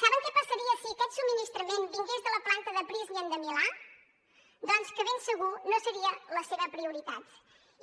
saben què passaria si aquest subministrament vingués de la planta de prysmian de milà doncs que de ben segur no seria la seva prioritat